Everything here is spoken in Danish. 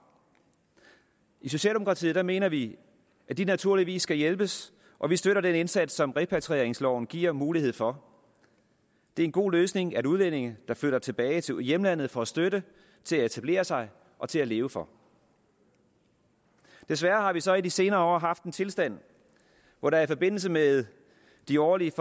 i socialdemokratiet mener vi at de naturligvis skal hjælpes og vi støtter den indsats som repatrieringsloven giver mulighed for det er en god løsning at udlændinge der flytter tilbage til hjemlandet får støtte til at etablere sig og til at leve for desværre har vi så i de senere år haft en tilstand hvor der i forbindelse med de årlige